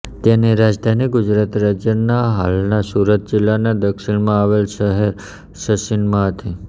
તેની રાજધાની ગુજરાત રાજ્યના હાલના સુરત જિલ્લાના દક્ષિણમાં આવેલ શહેર સચીનમાં હતી